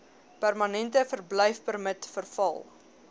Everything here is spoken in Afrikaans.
permanente verblyfpermit verval